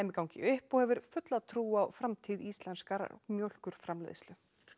gangi upp og hefur fulla trú á framtíð íslenskrar mjólkurframleiðslu